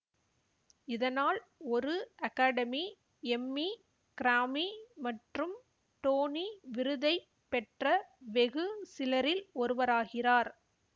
இதனால் ஒரு academy Emmy Grammy மற்றும் டோனி விருதை பெற்ற வெகு சிலரில் ஒருவராகிறார்